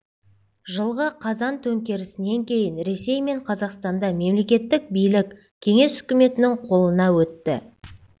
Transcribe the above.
жылғы қазан төңкерісінен кейін ресей мен қазақстанда мемлекеттік билік кеңес үкіметінің қолына өтті